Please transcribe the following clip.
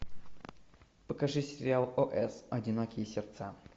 покажи сериал о с одинокие сердца